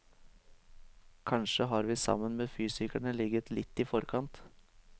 Kanskje har vi sammen med fysikerne ligget litt i forkant.